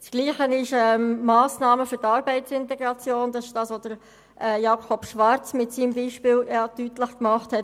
Das Gleiche trifft auf die Massnahmen für Arbeitsintegration zu, wie sie Jakob Schwarz mit seinem Beispiel deutlich gemacht hat.